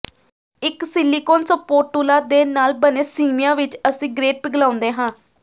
ਇਕ silicone spatula ਦੇ ਨਾਲ ਬਣੇ ਸਿਮਿਆਂ ਵਿਚ ਅਸੀਂ ਗ੍ਰੇਟ ਪਿਘਲਾਉਂਦੇ ਹਾਂ